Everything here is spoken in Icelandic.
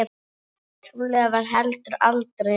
Trúlega var heldur aldrei nein.